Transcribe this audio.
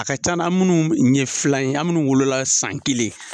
A ka ca an na, an munnu ye filan ye ,an munnu wolola san kelen.